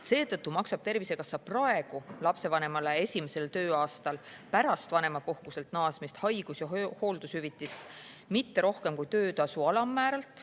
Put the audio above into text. Seetõttu maksab Tervisekassa praegu lapsevanemale esimesel tööaastal pärast vanemapuhkuselt naasmist haigus- ja hooldushüvitist mitte rohkem kui töötasu alammääralt.